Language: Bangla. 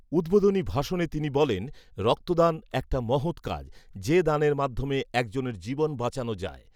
উদ্বোধনী ভাষণে তিনি বলেন, রক্তদান একটা মহৎ কাজ, যে দানের মাধ্যমে একজনের জীবন বাঁচানো যায়।